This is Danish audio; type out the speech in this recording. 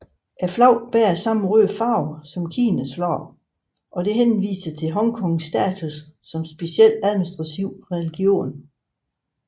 Flaget bærer samme røde farve som Kinas flag og dette henviser til Hongkongs status som Speciel Administrativ Region